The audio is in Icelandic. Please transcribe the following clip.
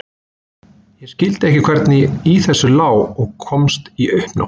Ég skildi ekki hvernig í þessu lá og komst í uppnám.